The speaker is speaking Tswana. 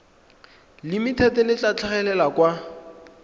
limited le tla tlhagelela kwa